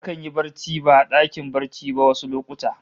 Akan yi barci ba a dakin barci ba wasu lokuta